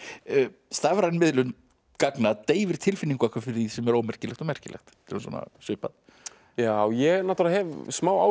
stafræn miðlun gagna deyfir tilfinningu okkar fyrir því sem er ómerkilegt og merkilegt þetta er svona svipað ég náttúrulega hef smá áhyggjur af